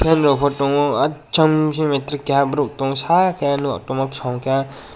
fan rokbo tongo ah cham metric bising keha borok tongsa yellow kosom khe.